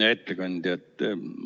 Hea ettekandja!